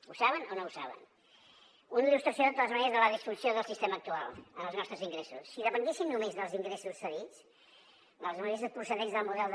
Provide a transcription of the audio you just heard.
ho saben o no ho saben una il·lustració de totes maneres de la disfunció del sistema actual en els nostres ingressos si depenguessin només dels ingressos cedits dels ingressos procedents del model de